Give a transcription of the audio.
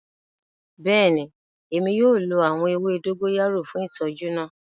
Bẹẹni, Emi yoo lo awọn ewe dogoyara fun itọju naa.